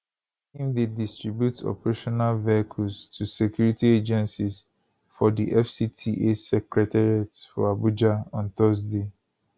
im dey distribute operational vehicles to security agencies for di fcta secretariat for abuja on thursday